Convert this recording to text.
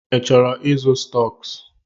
Ị chọrọ ịzụ stọks?